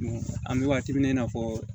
An bɛ waati min na i n'a fɔ